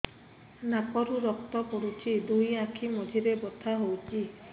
ନାକରୁ ରକ୍ତ ପଡୁଛି ଦୁଇ ଆଖି ମଝିରେ ବଥା ହଉଚି